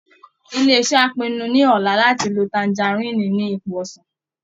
Ilé iṣẹ́ á pinnu ní ọ̀la láti lo tangaríìnì ni ipò ọsàn